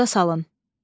Yada salın.